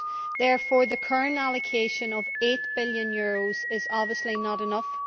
Therefore the current allocation of EUR 8 billion is obviously not enough.